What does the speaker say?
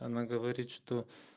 она говорит что